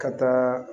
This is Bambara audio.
Ka taa